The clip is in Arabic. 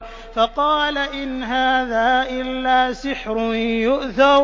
فَقَالَ إِنْ هَٰذَا إِلَّا سِحْرٌ يُؤْثَرُ